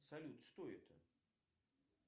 салют что это